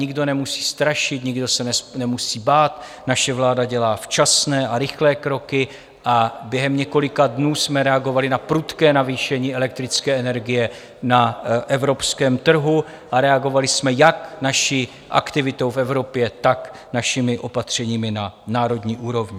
Nikdo nemusí strašit, nikdo se nemusí bát, naše vláda dělá včasné a rychlé kroky a během několika dnů jsme reagovali na prudké navýšení elektrické energie na evropském trhu a reagovali jsme jak naší aktivitou v Evropě, tak našimi opatřeními na národní úrovni.